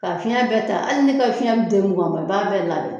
Ka fiɲɛ bɛɛ ta ali n'i ka fiɲɛ be den nugan bɔ n ma bɛɛ labɛn